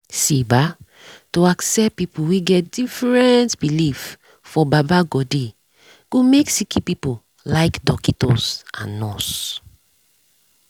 see bah to accept pple wen get different belief for baba godey go make sicki pple like dockitos and nurse